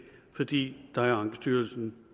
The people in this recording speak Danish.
fordi der er ankestyrelsen